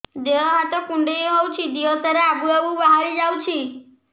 ଦିହ ହାତ କୁଣ୍ଡେଇ ହଉଛି ଦିହ ସାରା ଆବୁ ଆବୁ ବାହାରି ଯାଉଛି